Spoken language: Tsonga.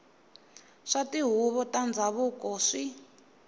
swa tihuvo ta ndhavuko swi